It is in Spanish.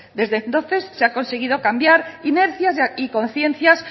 desde entonces se han conseguido cambiar inercias y conciencias